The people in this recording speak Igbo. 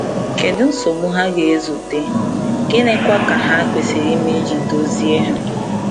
Kedu nsogbu ha ga-ezute, gịnịkwa ka ha kwesịrị ime iji dozie ha?